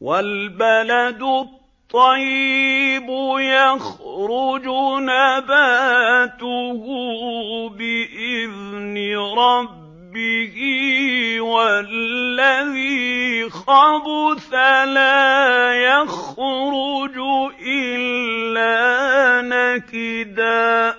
وَالْبَلَدُ الطَّيِّبُ يَخْرُجُ نَبَاتُهُ بِإِذْنِ رَبِّهِ ۖ وَالَّذِي خَبُثَ لَا يَخْرُجُ إِلَّا نَكِدًا ۚ